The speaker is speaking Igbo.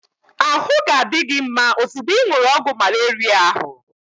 Ahụ ga-adi gị mma ozugbo ị ṅụrụ ọgwụ malaria ahu